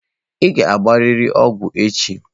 Ị ga-agbarịrị ọgwụ echi.